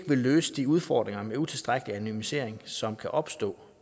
vil løse de udfordringer ved utilstrækkelig anonymisering som kan opstå